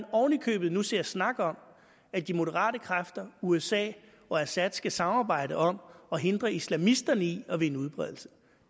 oven i købet ser snakkes om at de moderate kræfter usa og assad skal samarbejde om at hindre islamisterne i at vinde udbredelse